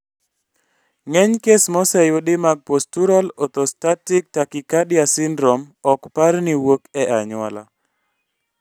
Ng'eny kes moseyudi mag postural orthostatic tachycardia syndrome ok par ni wuok e anyuola